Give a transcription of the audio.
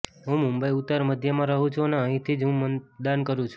હું મુંબઈ ઉત્તર મધ્યમાં રહું છું અને અહીંથી જ હું મતદાન કરું છું